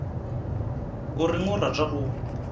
o reng a rata go